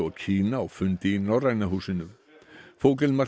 Kína á fundi í Norræna húsinu